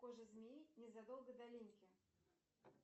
кожа змеи незадолго до линьки